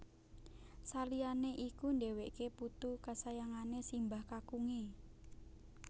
Saliyane iku dheweke putu kasayangane simbah kakunge